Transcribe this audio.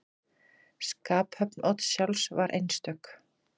Skaphöfn Odds sjálfs var einstök.